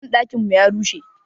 Banɗakin mu ya rushe.